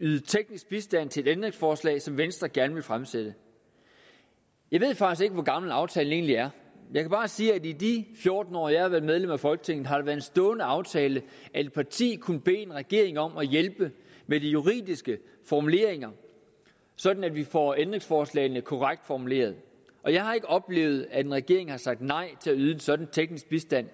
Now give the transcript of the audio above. yde teknisk bistand til et ændringsforslag som venstre gerne vil fremsætte jeg ved faktisk ikke hvor gammel aftalen egentlig er jeg kan bare sige at i de fjorten år jeg har været medlem af folketinget har det været en stående aftale at et parti kunne bede en regering om at hjælpe med de juridiske formuleringer sådan at vi får ændringsforslagene korrekt formuleret og jeg har ikke tidligere oplevet at en regering har sagt nej til at yde en sådan teknisk bistand